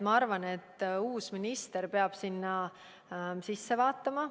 Ma arvan, et uus minister peab sinna sisse vaatama.